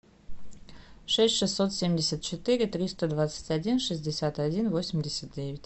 шесть шестьсот семьдесят четыре триста двадцать один шестьдесят один восемьдесят девять